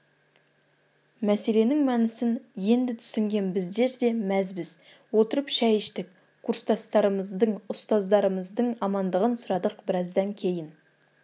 мәселенің мәнісін енді түсінген біздер де мәзбіз отырып шай іштік курстастарымыздың ұстаздарымыздың амандығын сұрадық біраздан кейін